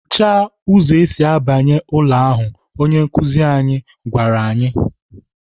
"Hicha ụzọ esi abanye ụlọ ahu!" Onye nkụzi anyị gwara anyị.